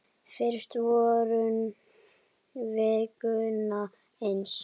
Fyrst vorum við Gunna eins.